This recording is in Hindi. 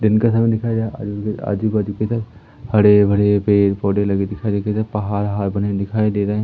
दिन का समय दिखाया गया आजू बाजू हरे भरे पेड़ पौधे लगे पहाड़ वहाड़ बने दिखाई दे रहे--